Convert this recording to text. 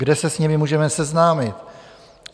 Kde se s nimi můžeme seznámit?